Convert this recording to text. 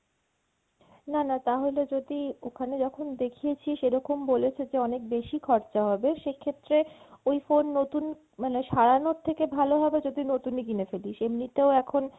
না না তাহলে যদি ওখানে যখন দেখিয়েছিস সেরকম বলেছে যে অনেক বেশি খরচা হবে সেক্ষেত্রে ওই phone নতুন মানে সারানোর থেকে ভালো হবে যদি নতুনই কিনে ফেলিস, এমনিতেও এখন